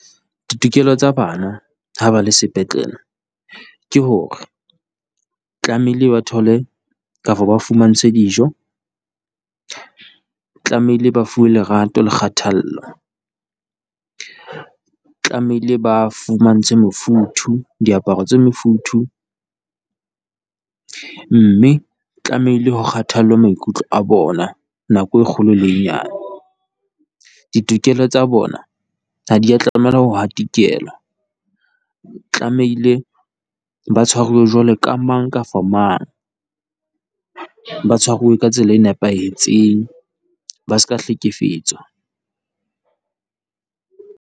Ditokelo tsa bana ha ba le sepetlele ke hore tlamehile ba thole kapa ba fumantshwe dijo, tlamehile ba fuwe lerato le kgathallo. Tlamehile ba fumantshwe mofuthu, diaparo tse mofuthu, mme tlamehile ho kgathallwe maikutlo a bona nako e kgolo le e nyane. Ditokelo tsa bona ha di ya tlameha ho hatikelwa, tlamehile ba tshwaruwe jwalo ka mang, kafa mang, ba tshwaruwe ka tsela e nepahetseng ba se ka hlekefetswa.